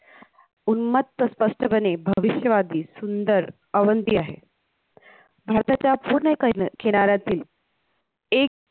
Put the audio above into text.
उन्मत्त स्पष्टपणे भविष्यवादी सुंदर अवंती आहे भारताच्या पूर्ण कैन किनाऱ्यातील एक